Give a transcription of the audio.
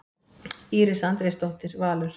Íris Andrésdóttir, Valur.